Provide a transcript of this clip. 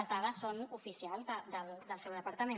les dades són oficials del seu departament